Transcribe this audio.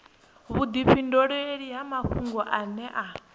vhudifhinduleli ha mafhungo ane a